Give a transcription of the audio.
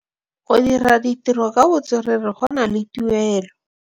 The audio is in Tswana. Go dira ditirô ka botswerere go na le tuelô.